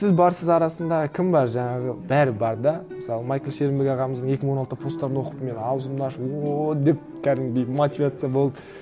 сіз барсыз арасында кім бар жаңағы бәрі бар да мысалы майкл шернберг ағамыздың екі мың он алтыда посттарын оқып мен ауызымды ашып ооо деп кәдімгідей мотивация болып